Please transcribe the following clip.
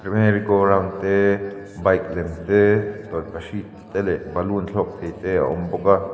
merry go round te bike lem te tawlhpahrit te leh balloon thlawk thei te a awm bawk a.